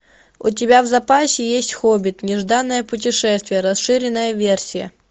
у тебя в запасе есть хоббит нежданное путешествие расширенная версия